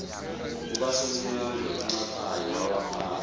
kukasonyangwe uncaphayi wawaphatha